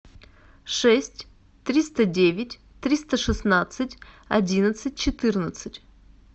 шесть триста девять триста шестнадцать одиннадцать четырнадцать